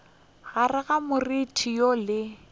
gare ga moriti woo le